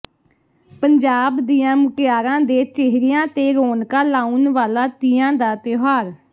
ਪੰਜਾਬ ਦੀਆਂ ਮੁਟਿਆਰਾਂ ਦੇ ਚੇਹਰਿਆਂ ਤੇ ਰੋਣਕਾਂ ਲਾਉਣ ਵਾਲਾ ਤੀਆਂ ਦਾ ਤਿਉਹਾਰ